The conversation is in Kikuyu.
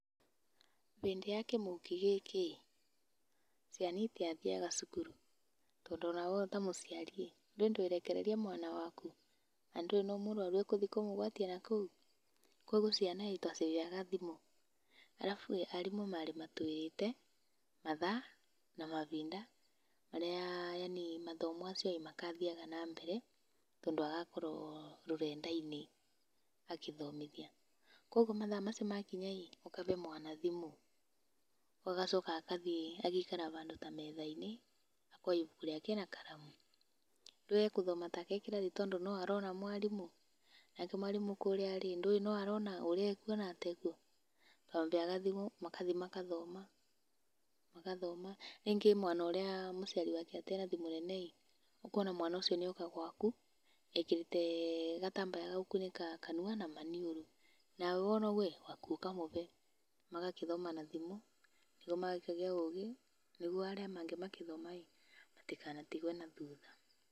Hĩndĩ ya kimũki gĩkĩ ĩĩ, ciana itiathiaga cukuru. Tondũ onawe ta mũciari ĩĩ, ndũĩ ndwĩrekereria mwana waku na ndũũĩ no mũrũaru ũgũthiĩ kũmũgwatia na kũu. Kogwo ciana ĩĩ twaciheaga thimũ. Arabu ĩĩ, arimũ marĩ matũhete mathaa, na mahinda marĩa yani mathomo macio magathiaga na mbere tondũ agakorwo rũrenda-inĩ agĩthomithia. Kogwo mathaa macio makinya ĩĩ, ũkahe mwana thimũ. Agacoka agathiĩ agaikara handũ ta metha-inĩ, akoya ibuku rĩake na karamu. Ndũĩ egũthoma ta e kĩrathi tondũ no arona mwarimũ. Nake mwarimũ kũrĩa rĩ, ndũĩ no arona ũrĩa ekũona ta ekuo. Twamaheaga thimũ, magathiĩ magathoma. Rĩngĩ mwana ũrĩa mũciari wake atarĩ na thimũ nene ĩĩ, ũkona mwana ũcio nĩ oka gwaku ekĩrĩte gatambaya ga gũkunĩka kanua na maniũrũ. Nawe wona ũguo ĩĩ, waku ũkamũhe. Magagĩthoma na thimũ, nĩguo magakĩgĩa ũgĩ, nĩguo arĩa angĩ magĩthoma ĩĩ, matikanatigũo na thutha.